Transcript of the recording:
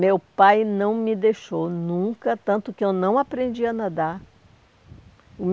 Meu pai não me deixou nunca, tanto que eu não aprendi a nadar.